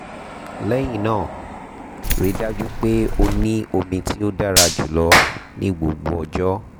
lẹhinna rii daju pe o ni omi ti o dara julọ ni gbogbo ọjọ